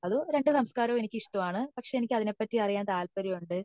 അതോ രണ്ടു സംസ്കാരം എനിക്ക് ഇഷ്ടമാണ് എനിക്ക് അതിനെ പാറ്റി അറിയാൻ എനിക്ക് താല്പര്യം ഉണ്ട്